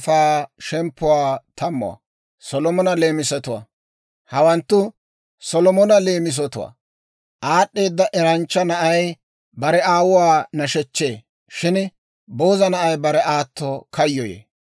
Hawanttu Solomona leemisatwaa. Aad'd'eeda eranchcha na'ay bare aawuwaa nashechchee; shin booza na'ay bare aato kayyoyee.